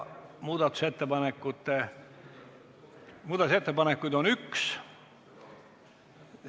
Muudatusettepanekuid on üks.